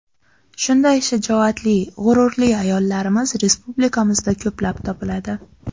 Shunday shijoatli, g‘ururli ayollarimiz respublikamizda ko‘plab topiladi.